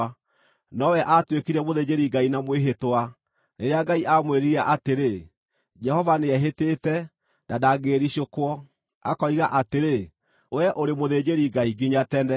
nowe aatuĩkire mũthĩnjĩri-Ngai na mwĩhĩtwa, rĩrĩa Ngai aamwĩrire atĩrĩ: “Jehova nĩehĩtĩte, na ndangĩĩricũkwo, akoiga atĩrĩ: ‘Wee ũrĩ mũthĩnjĩri-Ngai nginya tene.’ ”